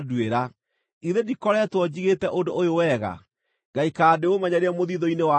“Githĩ ndikoretwo njigĩte ũndũ ũyũ wega ngaikara ndĩũmenyereire mũthiithũ-inĩ wakwa?